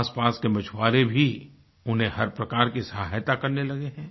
आसपास के मछुआरें भी उन्हें हर प्रकार की सहायता करने लगे है